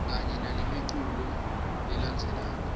kanye nalemiculu lelandzelako